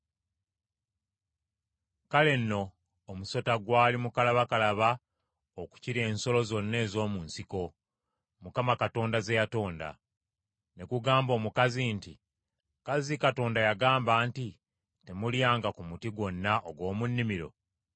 Kale nno omusota gwali mukalabakalaba okukira ensolo zonna ez’omu nsiko, Mukama Katonda ze yatonda. Ne gugamba omukazi nti, “Kazzi Katonda yagamba nti, ‘Temulyanga ku muti gwonna ogw’omu nnimiro!’ ”